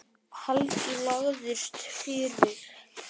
Helgi lagðist fyrir.